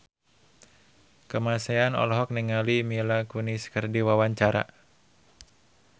Kamasean olohok ningali Mila Kunis keur diwawancara